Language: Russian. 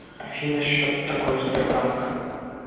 афина счет такой сбербанк